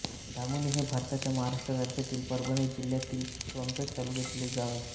धामोणी हे भारताच्या महाराष्ट्र राज्यातील परभणी जिल्ह्यातील सोनपेठ तालुक्यातील एक गाव आहे